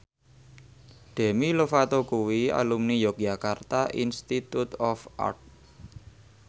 Demi Lovato kuwi alumni Yogyakarta Institute of Art